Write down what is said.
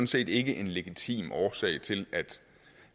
set ikke en legitim årsag til at